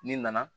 N'i nana